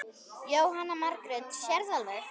Jóhanna Margrét: Sérðu alveg?